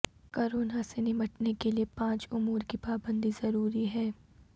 corona سے نمٹنے کے لیے پانچ امور کی پابندی ضروری